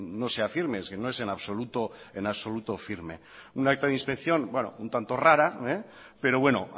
no sea firme es que no es absoluto firme un acta de inspección un tanto rara pero bueno